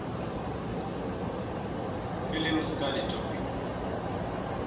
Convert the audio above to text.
film study topics